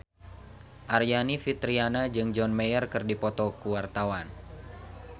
Aryani Fitriana jeung John Mayer keur dipoto ku wartawan